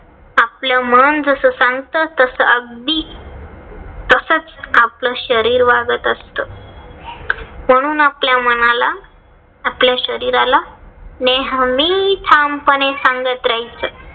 आपलं मन जस सांगत. तस अगदी तसच आपलं शरीर वागत असत. म्हणून आपल्या मनाला आपल्या शरीराला नेहमी ठामपणे सांगत रहायचं.